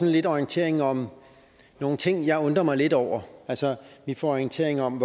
lidt orientering om nogle ting jeg undrer mig lidt over altså vi får orientering om